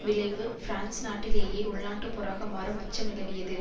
விளைவு பிரான்ஸ் நாட்டிலேயே உள்நாட்டுப்போராக மாறும் அச்சம் நிலவியது